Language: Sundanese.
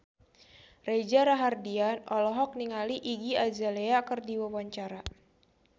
Reza Rahardian olohok ningali Iggy Azalea keur diwawancara